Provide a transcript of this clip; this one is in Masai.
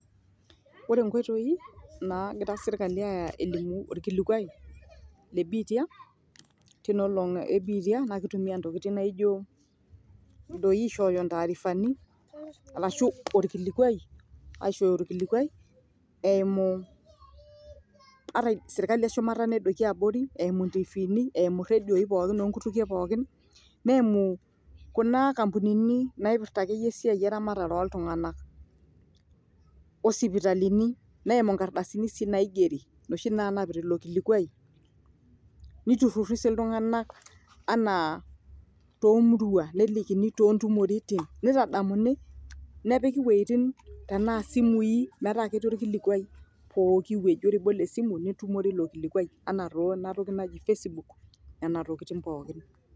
ore nkoitoi nagira serkali aya elimu orkilikuai le biitia, tinoolong e biitia naa kitumia ntoking naijo doi aishooyo ntaarifani arashu orkilikwai aishooyo orkilikwai eimuu, ata serkali eshumata nedoiki abori eimu ntiifini, iredioi pookin oonkutukie pookin neimu kuna kampunini naipirta akeyie esiai eramatere ooltung'anak, osipitalini neimu nkardasini sii naigeri noshi naanapita ilo kilikwai ,neiruri sii iltung'anak anaa toomurua nelikini toontumoritin neitadamuni nepiki wueitin tenaa simui metaa ketii orkilikwai pooki wueji, ore piibol esimu nitumore ilo kilikwai enaa too ena toki naji facebook nena tokiting pookin.